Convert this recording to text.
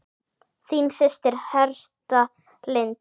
Þín systir, Hertha Lind.